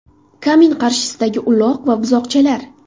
Kamin qarshisidagi uloq va buzoqchalar.